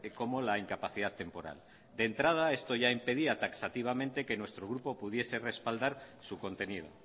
como la incapacidad temporal de entrada esto ya impedía taxativamente que nuestro grupo pudiese respaldar su contenido